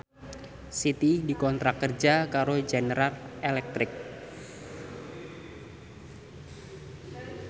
Siti dikontrak kerja karo General Electric